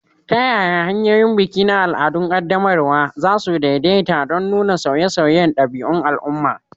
Ta yaya hanyoyin biki na al'adun qaddamarwa, za su daidaita don nuna sauye-sauyen ɗabi'un al'umma?